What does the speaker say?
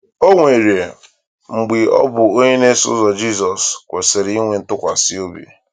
O um nwere um mgbe ọ bụ onye na-eso ụzọ Jizọs kwesịrị um ntụkwasị obi.